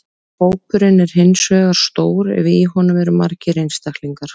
Hópurinn er hins vegar stór ef í honum eru margir einstaklingar.